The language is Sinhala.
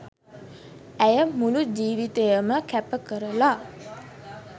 ඇය මුළු ජීවිතයම කැප කරලා